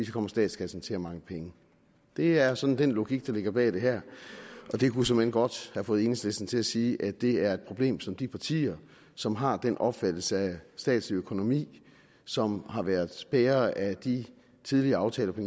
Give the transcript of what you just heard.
kommer statskassen til at mangle penge det er sådan den logik der ligger bag det her og det kunne såmænd godt have fået enhedslisten til at sige at det er et problem som de partier som har den opfattelse af statslig økonomi som har været bærere af de tidligere aftaler på